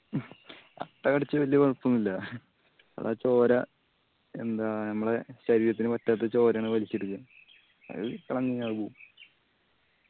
അട്ട കടിച്ച വെല്യ കൊഴപ്പോന്നില്ലാ അത് ആ ചോര എന്താ ഞമ്മളെ ശരീരത്തിന് പറ്റാത്തെ ചോരയാണ് വലിച്ചെടുക്കന്ന് അത് അത് പോവും